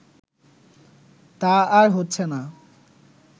তা আর হচ্ছেনা